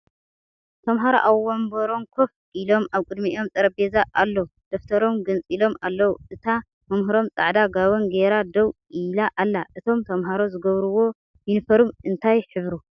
ተምሃሮ ኣብ ወንበሮም ኮፍ ኢሎም ኣብ ቅድሚኦም ጠረጵዛ ኣሎ ደፍተሮም ገንፂሎም ኣለዉ እታ መምህሮም ፃዕዳ ጋቦን ጌራ ደው ኢላ ኣላ። እቶም ተማሃሮ ዝገበርዎ ዩኒፎርም እንታይ ሕብሩ?